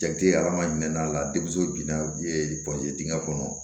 Jate adamaden n'a la denmuso binna dingɛ kɔnɔ